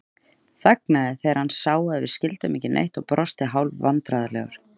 Þagnaði þegar hann sá að við skildum ekki neitt og brosti hálfvandræðalegur.